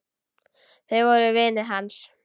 Þau voru vinir hans.